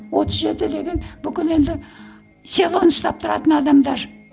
отыз жеті деген бүкіл енді селоны ұстап тұратын адамдар